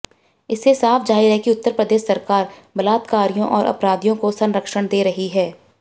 इससे साफ जाहिर है उत्तर प्रदेश सरकार बलात्कारियों और अपराधियों को संरक्षण दे रही है